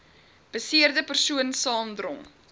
beseerde persoon saamdrom